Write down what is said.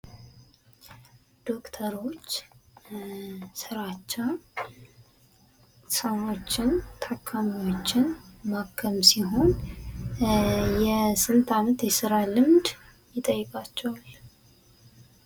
ዶክተሮች ስራቸው ሰዎችን ታካሚዎችን ማከም ሲሆን የስንት አመት የስራ ልምድ ይጠይቃቸዋል?